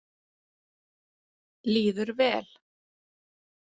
Líður vel.